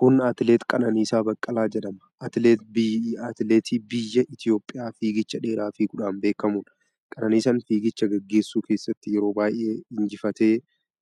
Kun atileet Qananiisaa Baqqalaa jedhama. Atileetii biyya Itoophiyaa fiigicha dheeraa fiiguudhaan beekamudha. Qananiisaan fiigicha gaggeessu keessatti yeroo baay'ee injifatee